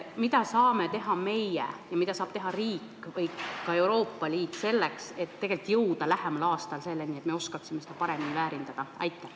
Mida saame teha meie ja mida saab teha riik või ka Euroopa Liit selleks, et jõuda lähematel aastatel selleni, et me oskaksime seda paremini väärindada?